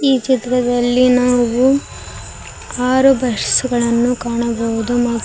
ಈ ಚಿತ್ರದಲ್ಲಿ ನಾವು ಆರು ಬಸ್ ಗಳನ್ನು ಕಾಣಬಹುದು ಮತ್.